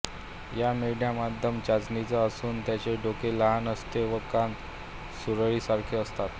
या मेंढ्या मध्यम चणीच्या असून त्यांचे डोके लहान असते व कान सुरळीसारखे असतात